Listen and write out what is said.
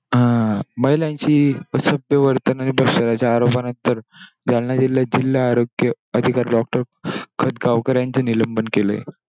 अं महिलांची असभ्य वर्तन म्हणजे भंगाच्या आरोपानंतर त्यांना जिल्हाआरोग्य अधिकारी doctor खटगावकर अधिकारी यांचे निलंबन केलं.